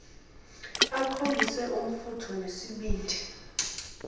akhombise umfutho nesibindi